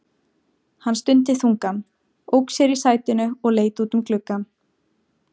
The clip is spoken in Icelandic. Hann stundi þungan, ók sér í sætinu og leit út um gluggann.